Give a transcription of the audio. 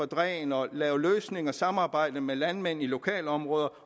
dræn og lave løsninger og samarbejde med landmænd i lokalområder